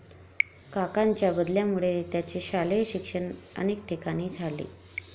काकांच्या बदल्यांमुळे त्यांचे शालेय शिक्षण अनेक ठिकाणी झाले.